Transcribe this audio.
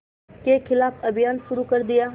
के ख़िलाफ़ अभियान शुरू कर दिया